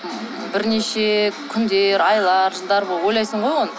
бірнеше күндер айлар жылдар ойлайсың ғой оны